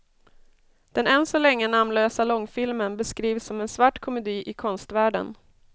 Den än så länge namnlösa långfilmen beskrivs som en svart komedi i konstvärlden.